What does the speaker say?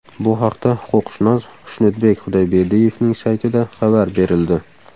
Bu haqda huquqshunos Xushnudbek Xudoyberdiyevning saytida xabar berildi .